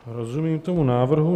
Rozumím tomu návrhu.